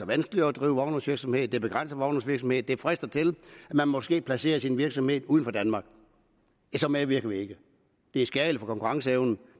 vanskeligere at drive vognmandsvirksomhed det begrænser vognmandsvirksomhed det frister til at man måske placerer sin virksomhed uden for danmark så medvirker vi ikke det er skadeligt for konkurrenceevnen